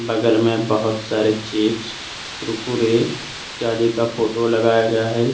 बगल में बहुत सारे चिप्स कुरकुरे जाली का फोटो लगाया गया है।